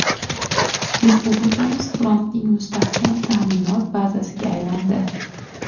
Respublikamiz frontning mustahkam ta’minot bazasiga aylandi.